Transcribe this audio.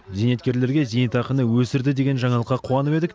зейнеткерлерге зейнетақыны өсірді деген жаңалыққа қуанып едік